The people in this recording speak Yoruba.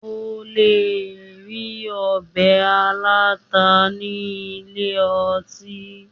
O le rí ọbẹ̀ aláta ní ilé ọtí.